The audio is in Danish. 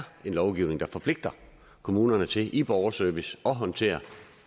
en lovgivning der forpligter kommunerne til i borgerservice at håndtere